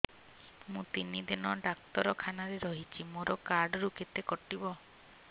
ମୁଁ ତିନି ଦିନ ଡାକ୍ତର ଖାନାରେ ରହିଛି ମୋର କାର୍ଡ ରୁ କେତେ କଟିବ